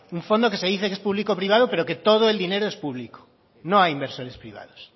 un fondo que se dice que es público privado pero que todo el dinero es público no hay inversores privados